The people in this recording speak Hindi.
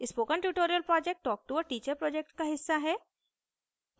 spoken tutorial project talktoa teacher project का हिस्सा है